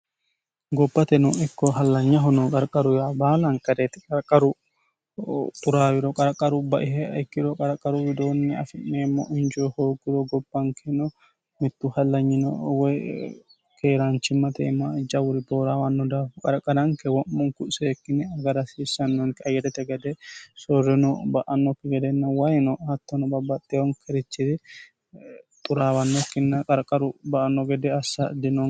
gopate no ikko hallanyaho no qarqaruyaa baalankereeti qarqaru xuraawiro qarqaru baiha ikkiro qarqaru widoonni afi'meemmo injoo hoogguro gobbankeno mittu hallanyino woy keeraanchimmate iima jawuri booraawanno daafo qarqananke wo'munku seekkine agara hsiissannonke ayyeno gede sorreno ba'annokki gedenna wayino hattono babbaxxeyonkerichiri xuraawannokkinna qarqaru ba anno gede assa dino